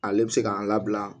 Ale bɛ se k'an labila